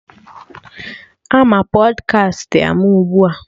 Ama Pọdkast ama ugbua